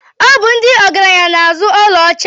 Ọ bụ ndị ọgaranya na-azụ ọlaọcha.